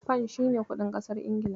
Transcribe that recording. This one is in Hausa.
Fan shi ne kuɗin ƙasar Ingila.